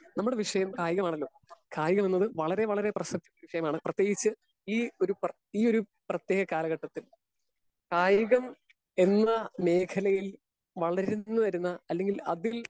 Speaker 1 നമ്മുടെ വിഷയം കായികമാണല്ലോ കായികമെന്നത് വളരെ വളരെ പ്രശസ്ത വിഷയമാണ്. പ്രതേകിച്ച് ഈ ഒരു പ്ര ഈ ഒരു പ്രതേക കാലഘട്ടത്തിൽ കായികം എന്ന മേഖലയിൽ വളർന്നു വരുന്ന അല്ലെങ്കിൽ അതിൽ